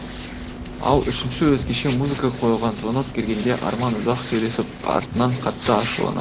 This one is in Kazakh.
ал үшінші өзгеше музыка қойылған звонок келгенде арман ұзақ сөйлесіп артынан қатты ашуланады